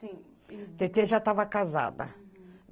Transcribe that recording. Tetê já estava casada.